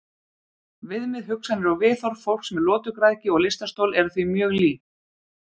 Viðmið, hugsanir og viðhorf fólks með lotugræðgi og lystarstol eru því mjög lík.